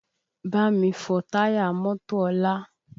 Bámi fọ táyà mọ́tò ọlá!